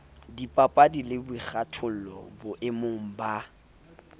dipapadi le boikgathollo boemong ba